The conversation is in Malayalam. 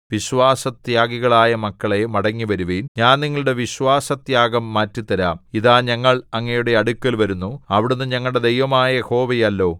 വിശ്വാസത്യാഗികളായ മക്കളേ മടങ്ങിവരുവിൻ ഞാൻ നിങ്ങളുടെ വിശ്വാസത്യാഗം മാറ്റിത്തരാം ഇതാ ഞങ്ങൾ അങ്ങയുടെ അടുക്കൽ വരുന്നു അവിടുന്ന് ഞങ്ങളുടെ ദൈവമായ യഹോവയല്ലോ